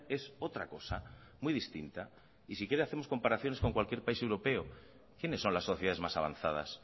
es otra cosa muy distinta y si quiere hacemos comparaciones con cualquier país europeo quiénes son las sociedades más avanzadas